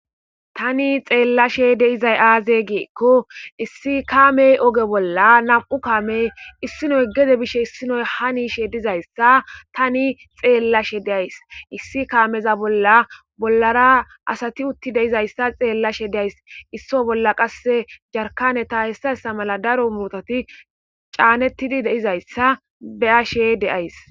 Tani xeellashe de'izay aaze gikko issi kaamey ooge bolla nam'u kaamey issinoy gedde bishe issinoy hani yiishe dizayssa tani xeellashe de'ays issi kaameza bolla bollara asati uutti de'izayssa xeellashe de'ays issi bolla qasse jarkane ta hessa hessa mala daro muuzeti caanettidi de'izayssa be'ashe de'ays